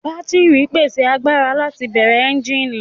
Bátírì ń pèsè agbára láti bẹ̀rẹ̀ ẹ́ńjíìnì